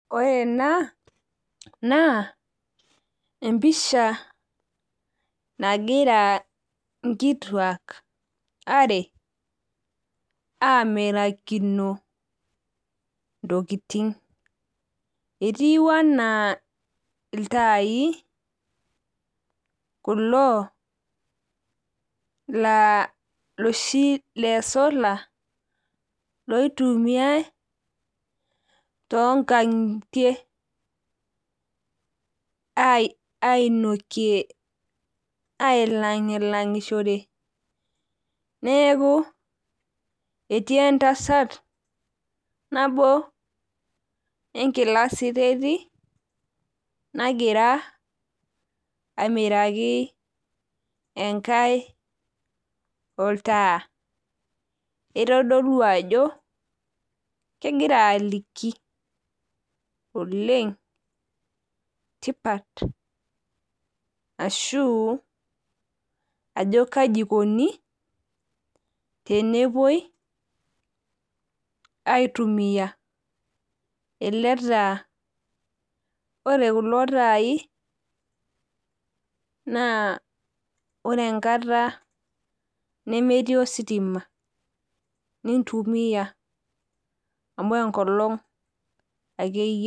Ore ena naa empisha nagira nkituak are amirakino ntokitin , etiu anaa iltai kulo iloshi lesolar loitumiay tonkangitie . Neku etii entasat nabo enkila siteti nagira amiraki enkae oltaa . Itodolu ajo kegira aliki tipat ashu kai ikoni tenepuoi aitumia eletaa .Ore kulo tai naa ore enkata nemetii ositima nintumia amu enkolong ake eyieu.